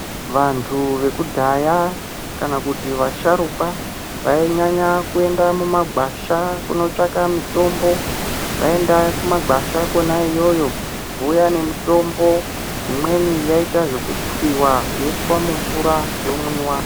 Vantu vekudhaya kana kuti vasharukwa vainyanya kuenda mumagwasha kunotsvaka mitombo vaienda kumagwasha kona iyoyo vouya nemutombo imweni yaiita zvekutsiwa yoiswa mumvura yomwiwa .